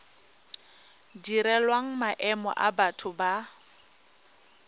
direlwang maemo a batho ba